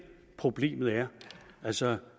problemet er altså